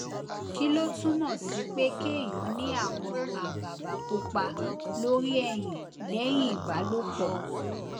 kí ló túmò sí pé kéèyàn ní àwọn àbàbà pupa lórí ẹyin lẹyìn ìbálòpọ̀